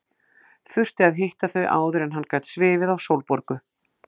Þurfti að hitta þau áður en hann gat svifið á Sólborgu.